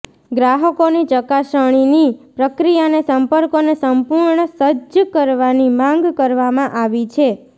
ગ્રાહકોની ચકાસણીની પ્રક્રિયાને સંપર્કોને સંપૂર્ણ સજ્જ કરવાની માંગ કરવામાં આવી છે